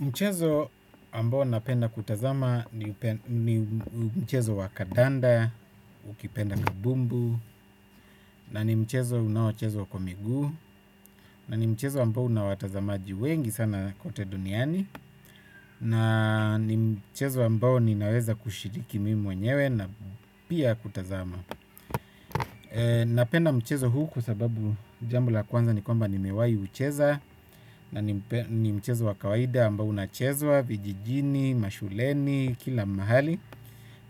Mchezo ambao napenda kutazama ni mchezo wa kadanda, ukipenda kabumbu, na ni mchezo unaochezwa kwa miguu, na ni mchezo ambao una watazamaji wengi sana kote duniani, na ni mchezo ambao ninaweza kushiriki mimi mwenyewe na pia kutazama. Napenda mchezo huu kwa sababu jambo la kwanza ni kwamba nimewahi ucheza. Na ni mchezo wa kawaida ambao unachezwa, vijijini, mashuleni, kila mahali.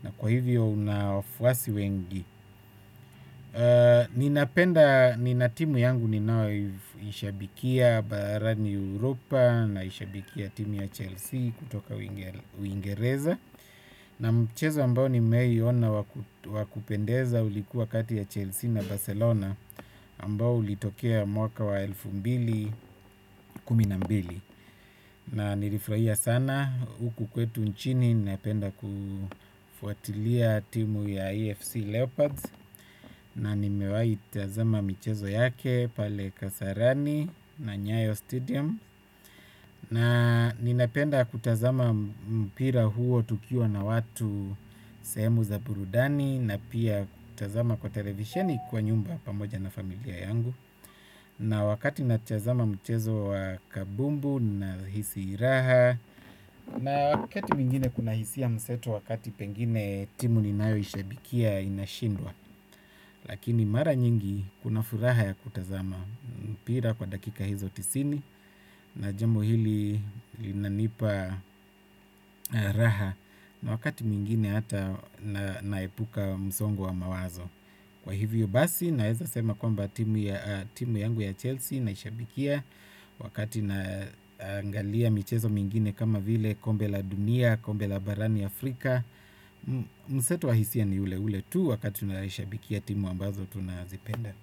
Na kwa hivyo una wafuasi wengi. Ninapenda nina timu yangu ninaoishabikia baharani Europa. Naishabikia timu ya Chelsea kutoka uingereza. Na mchezo ambao nimeiona wakupendeza ulikuwa kati ya Chelsea na Barcelona ambao ulitokea mwaka wa elfu mbili kumi na mbili na nilifurahia sana huku kwetu nchini napenda kufuatilia timu ya AFC Leopards na nimewahi tazama michezo yake pale Kasarani na Nyayo Stadium na ninapenda kutazama mpira huo tukiwa na watu sehemu za burudani na pia kutazama kwa televisheni kwa nyumba pamoja na familia yangu. Na wakati natazama mchezo wa kabumbu nahisi raha. Na wakati mwingine kuna hisia mseto wakati pengine timu ninaoishabikia inashindwa. Lakini mara nyingi kuna furaha ya kutazama mpira kwa dakika hizo tisini na jambo hili linanipa raha. Na wakati mwingine ata naepuka msongo wa mawazo. Kwa hivyo basi naweza sema kwamba timu yangu ya Chelsea naishabikia wakati naangalia michezo mingine kama vile kombe la dunia, kombe la barani Afrika. Mseto wa hisia ni ule ule tu wakati unaishabikia timu ambazo tunazipenda.